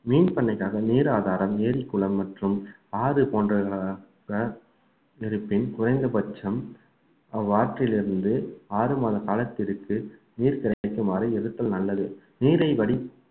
மீன் பண்ணைக்காக நீர் ஆதாரம், ஏரி குளம் மற்றும் ஆறு போன்றவை இருப்பின் குறைந்த பட்சம் அவ்வாற்றிலிருந்து ஆறு மாத காலத்திற்கு நீர் கிடைக்குமாறு எதிர்த்தல் நல்லது நீரை வடி